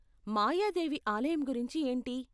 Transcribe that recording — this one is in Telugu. మాయాదేవి ఆలయం గురించి ఏంటి?